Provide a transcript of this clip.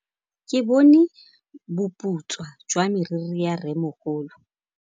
Ke bone boputswa jwa meriri ya rrêmogolo.